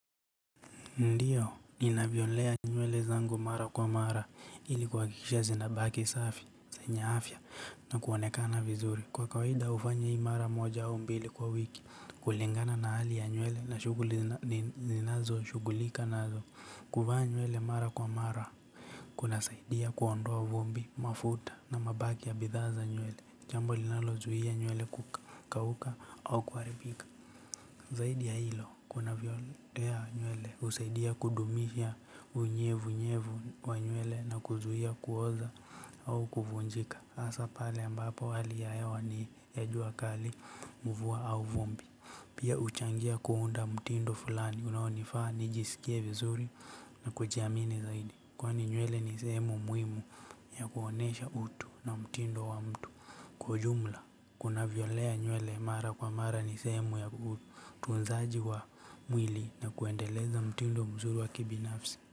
Ndio, ninavyolea nywele zangu mara kwa mara. Ili kua akikisha zinabaki safi, senye afya, na kuonekana vizuri. Kwa kawaida, ufanya hii mara moja au mbili kwa wik. Kulingana na hali ya nywele na shughuli ninazoshughulika nazo. Kuvaa nywele mara kwa mara, kuna saidia kuondoa vumbi, mafuta na mabaki ya bidhaa za nywele. Jambo linalozuia nywele kukauka au kuharibika. Zaidi ya hilo, kuna vyolea nywele usaidia kudumisha unyevu nyevu wa nywele na kuzuia kuoza au kuvunjika hasa pale ambapo, hali ya hewa ni ya jua kali. Mvua au vumbi. Pia, uchangia kuunda mtindo fulani unaonifaa nijisikie vizuri na kujiamini zaidi. Kwani, nywele ni sehemu muhimu, ya kuonesha utu na mtindo wa mtu. Kwa ujumla, kuna vyolea nywele mara kwa mara ni sehemu ya utunzaji wa mwili na kuendeleza mtindo mzuri wa kibinafsi.